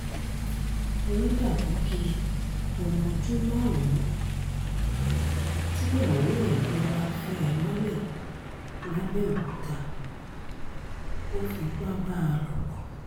ọ̀làdàpọ̀ kí ọmọ ọdún márùn-ún tíyàwó ẹ̀ gbé wàá fẹ́ ẹ mọ́lẹ̀ làbẹ́òkúta ó fipá bá a lò pọ̀